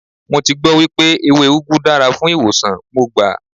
Mo ti gbọ́ wípé ewé úgú dára fún ìwòsàn, mo gbà.